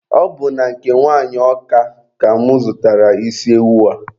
Ọ bụ na nke nwanyị Ọka ka mụ zụtara isi ewu a.